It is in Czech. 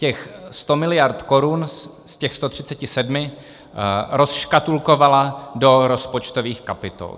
Těch 100 miliard korun z těch 137 rozškatulkovala do rozpočtových kapitol.